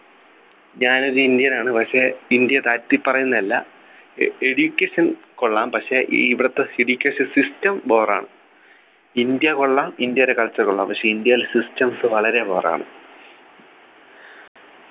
ഞാന് ഒരു indian നാണ് പക്ഷേ ഇന്ത്യ താഴ്ത്തി പറയുന്നതല്ല എ Education കൊള്ളാം പക്ഷേ ഇവിടുത്തെ Educational system bore ആണ് ഇന്ത്യ കൊള്ളാം ഇന്ത്യരെ Culture കൊള്ളാം പക്ഷെ ഇന്ത്യയിലെ systems വളരെ bore ആണ്